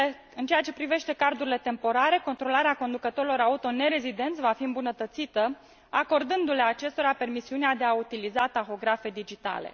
În ceea ce privește cardurile temporare, controlarea conducătorilor auto nerezidenți va fi îmbunătățită, acordându le acestora permisiunea de a utiliza tahografe digitale.